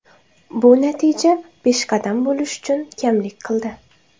Bu natija peshqadam bo‘lish uchun kamlik qildi.